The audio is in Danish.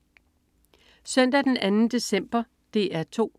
Søndag den 2. december - DR 2: